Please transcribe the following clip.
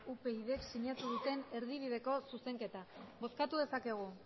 upydk sinatu duten erdibideko zuzenketa bozkatu dezakegu